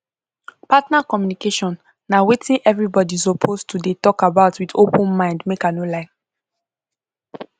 partner communication na wetin everybody suppose to dey talk about with open mind make i no lie